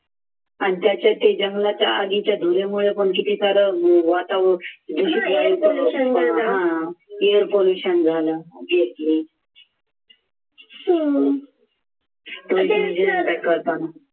आणि त्याचे ते जंगलाच्या आधीच्या धुरामुळे पण किती सारं वातावरण air pollution झालं